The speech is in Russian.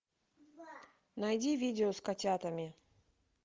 найди видео с котятами